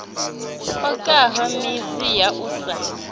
okaho midzi ya u sa